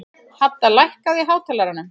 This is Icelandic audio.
Hadda, lækkaðu í hátalaranum.